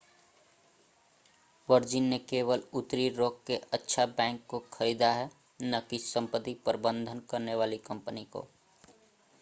virgin ने केवल उत्तरी रॉक के अच्छा बैंक को खरीदा है न कि संपत्ति प्रबंधन करने वाली कंपनी को